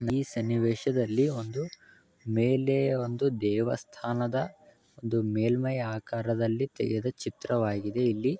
ಈ ಸನ್ನಿವೇಷದಲ್ಲಿ ಒಂದು ಮೇಲೆ ದೇವಸ್ಥಾನದ ಮೇಲ್ಮೈಆಕಾರದಲ್ಲಿ ತೆಗೆದ ಚಿತ್ರವಾಗಿದೆ ಇಲ್ಲಿ.